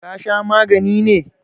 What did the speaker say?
ka Sha magani ne!